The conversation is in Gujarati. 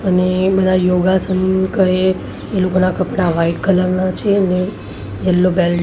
અને બધા યોગાસન કરે. એ લોકોના કપડાં વ્હાઈટ કલર ના છે અને યેલ્લો બેલ્ટ --